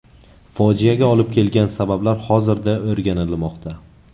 Fojiaga olib kelgan sabablar hozirda o‘rganilmoqda.